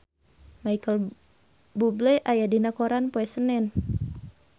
Micheal Bubble aya dina koran poe Senen